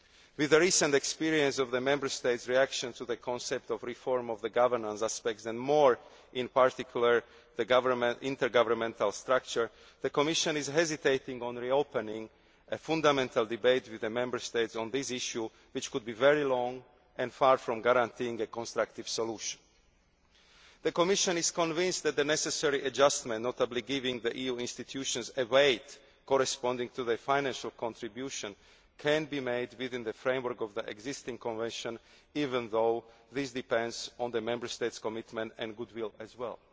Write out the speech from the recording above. With the recent experience of the Member States' reaction to the concept of reform of the governance aspects, and in particular the intergovernmental structure, the Commission is hesitant to reopen a fundamental debate with the Member States on this issue, which could be very long and far from a guarantee for a constructive solution. The Commission is convinced that the necessary adjustment, notably giving the EU institutions a weight corresponding to their financial contribution, can be made within the framework of the existing Convention, even though this depends on the Member States' commitment and goodwill,